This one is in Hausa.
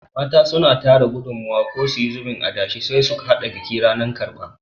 Mata suna tara gudumawa ko suyi zubin adashe sai su haɗa biki ranan karɓa